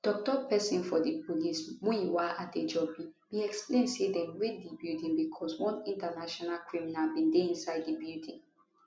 tok tok pesin for di police muyiwa adejobi bin explain say dem raid di building becos one international criminal bin dey inside di building